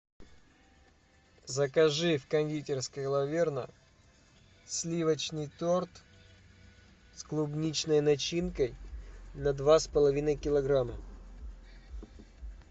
закажи в кондитерской лаверна сливочный торт с клубничной начинкой на два с половиной килограмма